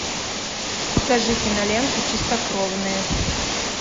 покажи киноленту чистокровные